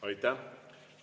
Aitäh!